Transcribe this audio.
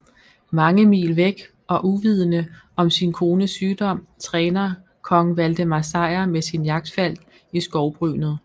Mange mil væk og uvidende om sin kones sygdom træner Kong Valdemar Sejr med sin jagtfalk i skovbrynet